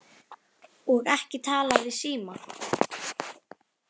Og ekki talað í síma?